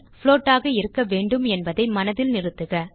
float ஆக இருக்க வேண்டும் என்பதை மனதில் நிறுத்துக